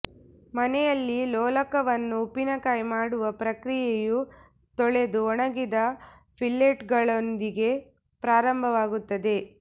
ಮನೆಯಲ್ಲಿ ಲೋಲಕವನ್ನು ಉಪ್ಪಿನಕಾಯಿ ಮಾಡುವ ಪ್ರಕ್ರಿಯೆಯು ತೊಳೆದು ಒಣಗಿದ ಫಿಲ್ಲೆಟ್ಗಳೊಂದಿಗೆ ಪ್ರಾರಂಭವಾಗುತ್ತದೆ